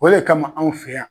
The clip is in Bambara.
O de kama anw fɛ yan